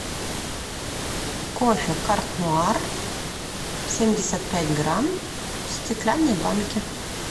кофе карт нуар семьдесят пять грамм в стеклянной банке